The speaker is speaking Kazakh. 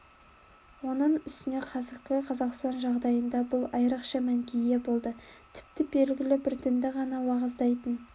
оның үстіне қазіргі қазақстан жағдайында бұл айрықша мәнге ие болды тіпті белгілі бір дінді ғана уағыздайтын